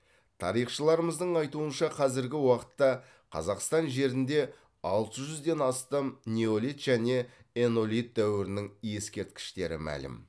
тарихшыларымыздың айтуынша қазіргі уақытта қазақстан жерінде алты жүзден астам неолит және энолит дәуірінің ескерткіштері мәлім